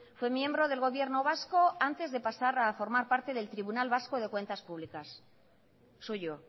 fue miembro del gobierno vasco antes de pasar a formar parte del tribunal vasco de cuentas públicas suyo